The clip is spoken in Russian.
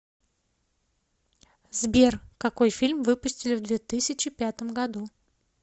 сбер какой фильм выпустили в две тысячи пятом году